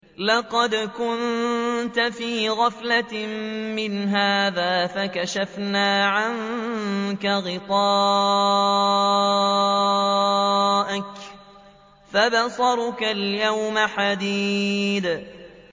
لَّقَدْ كُنتَ فِي غَفْلَةٍ مِّنْ هَٰذَا فَكَشَفْنَا عَنكَ غِطَاءَكَ فَبَصَرُكَ الْيَوْمَ حَدِيدٌ